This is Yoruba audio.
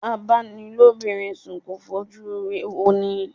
A-bá-ni-lóbinrin sùn kò fojú ire wọni.